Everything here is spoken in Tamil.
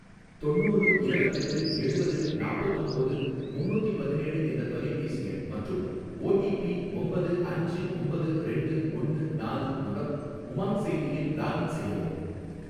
தொண்ணூறு இரவத்தெட்டு எழுவது நாப்பத்தொம்போது முன்னூத்தி பதினேழு என்ற தொலைபேசி எண் மற்றும் ஓ டி பி ஒம்பது அஞ்சு ஒம்பது ரெண்டு ஒன்னு நாலு மூலம் உமாங் செயலியில் லாக்இன் செய்யவும்.